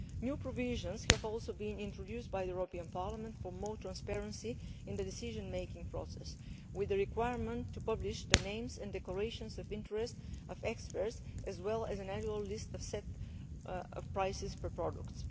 New provisions have also been introduced by the European Parliament for more transparency in the decision making process with the requirement to publish experts' names and declarations of interest as well as an annual list of set prices for products.